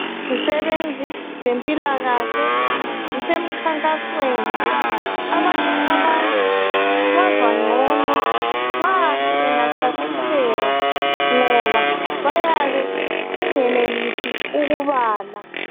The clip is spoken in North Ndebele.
Izisebenzi zempilakahle zisemkhankasweni abanye abantu bazwangcono nxa bengachasiselwa ngoba bayabe bengenelisi ukubala